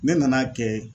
Ne nan'a kɛ